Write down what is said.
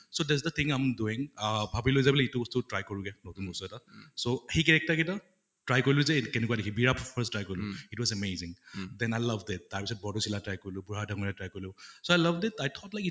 so that's the thing i am doing ah ভাবিলো যে বোলে এইটো বস্তু try কৰোঁগে, নতুন বস্তু এটা উম so সেই character গিটা try কৰিলোঁ যে কেনেকুৱা দেখি ত first try কৰিলোঁ it was amazing, then i loved it তাৰ পিছত বৰ্দৈচিলাত try কৰিলোঁ, try কৰিলোঁ । so i loved it, i thought like it